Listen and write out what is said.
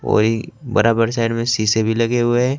कोई बराबर साइड में शीशे भी लगे हुए हैं।